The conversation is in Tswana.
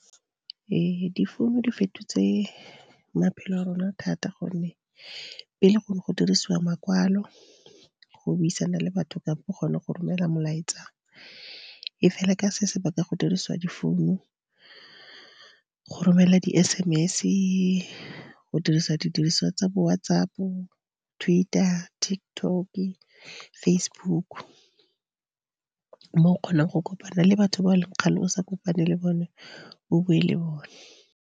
Ee difounu di fetotse maphelo a rona thata gonne pele go ne go dirisiwa makwalo go buisana le batho kampo go ne go romela molaetsa. E fela ka se sebaka go dirisiwa difounu go romela di S_M_S go dirisa didiriswa tsa bo WhatsApp, Twitter, TikTok, Facebook. Mo o kgonang go kopana le batho ba e leng kgale o sa kopane le bone o bue le bona.